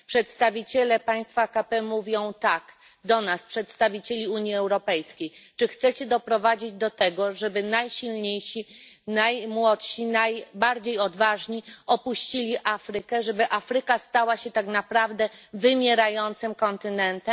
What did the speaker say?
Przedstawiciele państw AKP mówią tak do nas, przedstawicieli Unii Europejskiej Czy chcecie doprowadzić do tego, żeby najsilniejsi, najmłodsi, najbardziej odważni opuścili Afrykę, żeby Afryka stała się tak naprawdę wymierającym kontynentem?